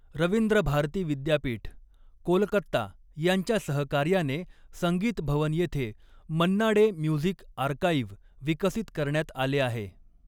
रवींद्र भारती विद्यापीठ, कोलकत्ता यांच्या सहकार्याने संगीत भवन येथे 'मन्ना डे म्युझिक आर्काइव्ह' विकसित करण्यात आले आहे.